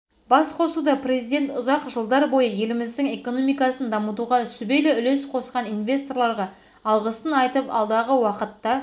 басқосуда президент ұзақ жылдар бойы еліміздің экономикасын дамытуға сүбелі үлес қосқан инвесторларға алғысын айтып алдағы уақытта